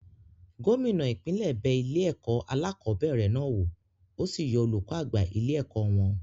Gómìnà ipinle bẹ ilé-ẹ̀kọ́ alákọ̀ọ́bẹ̀rẹ̀ náà wò, ó sì yọ olùkọ́ àgbà ilé-ẹ̀kọ́ wọn.